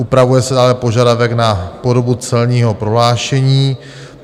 Upravuje se dále požadavek na podobu celního prohlášení.